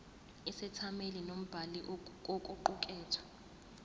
isethameli nombhali kokuqukethwe